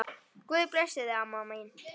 Guð blessi þig, mamma mín.